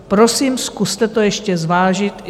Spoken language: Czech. Prosím, zkuste to ještě zvážit.